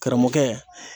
Karamɔgɔkɛ